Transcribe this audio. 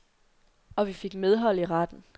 Og vi fik medhold i retten.